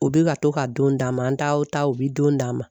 U bɛ ka to ka don d'a ma an taw ta u bɛ don d'a ma.